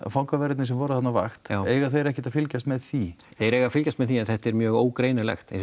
fangaverðirnir sem voru þarna á vakt já eiga þeir ekkert að fylgjast með því þeir eiga að fylgjast með því en þetta er mjög ógreinilegt eins